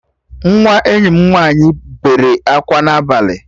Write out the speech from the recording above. Nwa enyi m nwaanyị bere akwa n'abalị